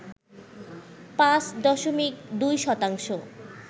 পাঁচ দশমিক দুই শতাংশ